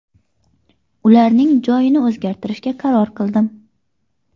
Ularning joyini o‘zgartirishga qaror qildim.